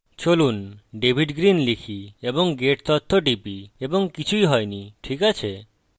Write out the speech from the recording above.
চলুন david green লিখি এবং গেট তথ্য টিপি এবং কিছুই হয়নি ঠিক আছে